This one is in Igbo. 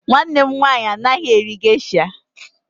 Nwanne m nwaanyị anaghị eri gesha.